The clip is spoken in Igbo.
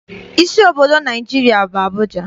Isi obodo Naịjirịa bụ Abụja.